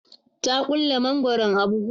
ta ƙulle mangwaron a buhu